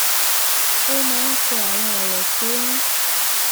ó máa ń kọ àwọn òrò tó ń